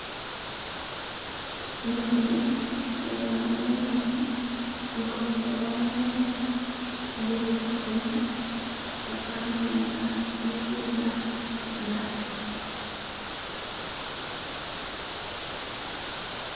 Inguje nga yamaliya mumoni, iliko ni gamoya mamali, nga ili mujigona yafanire nga ili kudya matu.